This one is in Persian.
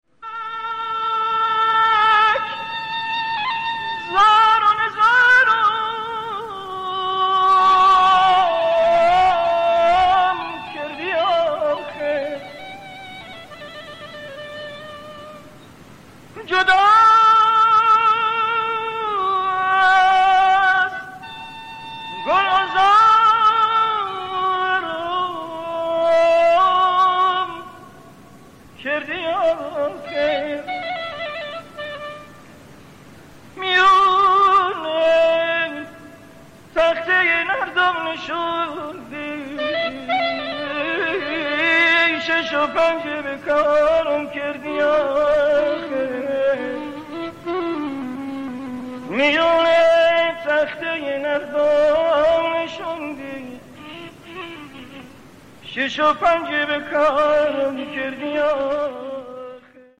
فلک زار و نزارم کردی آخر جدا از گلعذارم کردی آخر میان تخته نرد محبت شش و پنجی به کارم کردی آخر